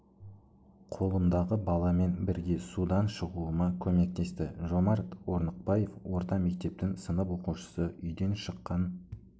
қолымдағы баламен бірге судан шығуыма көмектесті жомарт орныкбаев орта мектептің сынып оқушысы үйден шыққан